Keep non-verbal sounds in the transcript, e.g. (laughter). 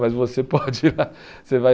(laughs) Mas você pode ir lá. Você vai